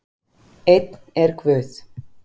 Einn er Guð.